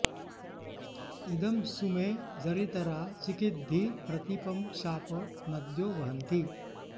इ॒दं सु मे॑ जरित॒रा चि॑किद्धि प्रती॒पं शापं॑ न॒द्यो॑ वहन्ति